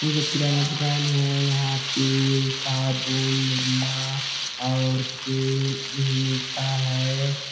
ये किराना दूकान है यहाँ तेल साबुन निरमा और तेल भी मिलता है।